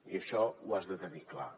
i això ho has de tenir clar